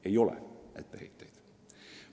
" Ei ole etteheiteid.